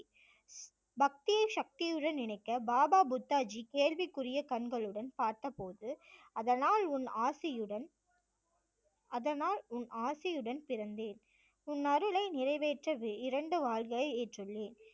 பக்தியை சக்தியுடன் இணைக்க பாபா புத்தாஜி கேள்விக்குரிய கண்களுடன் பார்த்தபோது அதனால் உன் ஆசியுடன் அதனால் உன் ஆசியுடன் பிறந்தேன் உன் அருளை நிறைவேற்றவே இரண்டு வாள்களை ஏற்றுள்ளேன்